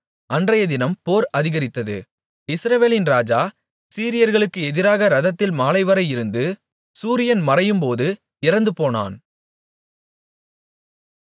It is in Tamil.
அன்றையதினம் போர் அதிகரித்தது இஸ்ரவேலின் ராஜா சீரியர்களுக்கு எதிராக இரதத்தில் மாலைவரை இருந்து சூரியன் மறையும்போது இறந்துபோனான்